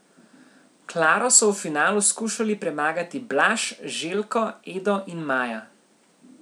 Klaro so v finalu skušali premagati Blaž, Željko, Edo in Maja.